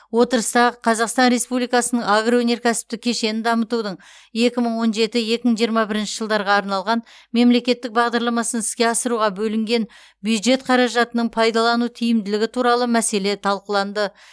отырыста қазақстан республикасының агроөнеркәсіптік кешенін дамытудың екі мың он жеті екі мың жиырма бірінші жылдарға арналған мемлекеттік бағдарламасын іске асыруға бөлінген бюджет қаражатының пайдалану тиімділігі туралы мәселе талқыланды